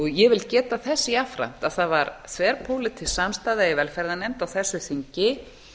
ég vil geta þess jafnframt að það var þverpólitísk samstaða í velferðarnefnd á þessu þingi